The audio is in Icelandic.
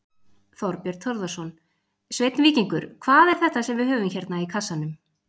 Þorbjörn Þórðarson: Sveinn Víkingur, hvað er þetta sem við höfum hérna í kassanum?